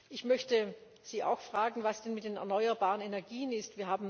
Ich möchte Sie auch fragen, was denn mit den erneuerbaren Energien ist.